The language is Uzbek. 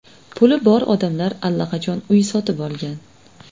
Puli bor odamlar allaqachon uy sotib olgan.